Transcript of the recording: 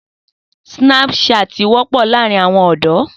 Sínápúṣàt wọ́pọ̀ láàrin àwọn ọ̀dọ́.